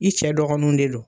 I cɛ dɔgɔninw de don.